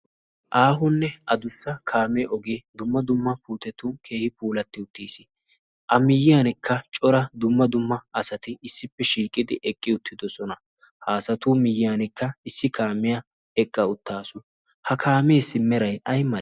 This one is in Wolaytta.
aahunne a dussa kaame ogee dumma dumma puutetu keehi puulatti uttiis a miyyiyankka cora dumma dumma asati issippe shiiqidi eqqi uttidosona. haasatu miyyiyankka issi kaamiya eqqa uttaasu ha kaameessi merai aymalee?